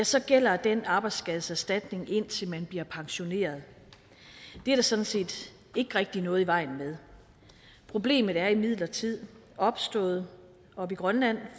så gælder den arbejdsskadeserstatning indtil man bliver pensioneret det er der sådan set ikke rigtig noget i vejen med problemet er imidlertid opstået oppe i grønland